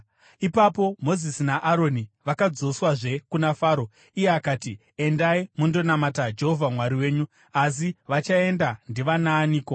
Ipapo Mozisi naAroni vakadzoswazve kuna Faro. Iye akati, “Endai mundonamata Jehovha Mwari wenyu. Asi vachaenda ndivanaaniko?”